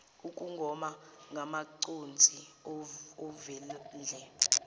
ukugoma ngamaconsi ovendle